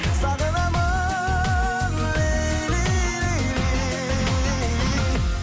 сағынамын лейли лейли